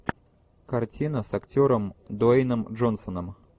картина с актером дуэйном джонсоном